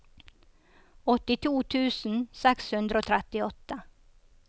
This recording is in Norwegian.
åttito tusen seks hundre og trettiåtte